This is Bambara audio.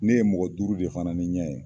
Ne ye mɔgɔ duuru de fana ni ɲɛ ye.